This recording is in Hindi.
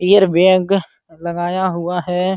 एयर बैग लगाया हुआ है।